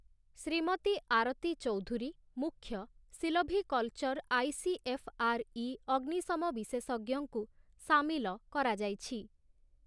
ଶ୍ରୀମତୀ ଆରତୀ ଚୌଧୁରୀ, ମୁଖ୍ୟ, silviculture ICFRE ଅଗ୍ନିଶମ ବିଶେଷଜ୍ଞ ଙ୍କୁ ସାମିଲ କରାଯାଇଛି ।